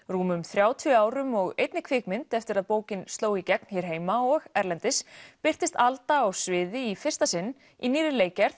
rúmum þrjátíu árum og einni kvikmynd eftir að bókin sló í gegn hér heima og erlendis birtist Alda á sviði í fyrsta sinn í nýrri leikgerð